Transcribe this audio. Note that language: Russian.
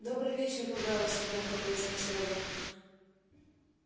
добрый вечер рубеус громко произнёс реддл